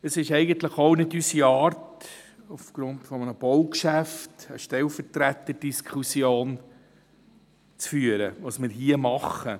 Es ist eigentlich auch nicht unsere Art, aufgrund eines Baugeschäfts eine Stellvertreterdiskussion zu führen, was wir nämlich hier tun.